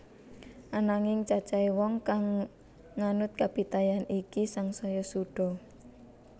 Ananging cacahé wong kang nganut kapitayan iki sangsaya suda